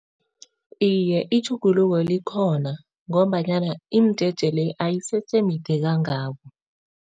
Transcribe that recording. Iye, itjhuguluko likhona ngombanyana imijeje le ayisese mide kangako.